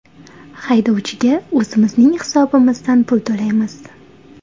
Haydovchiga o‘zimizning hisobimizdan pul to‘laymiz.